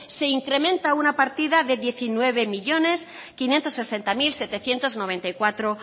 se incrementa una partida de diecinueve millónes quinientos sesenta mil setecientos noventa y cuatro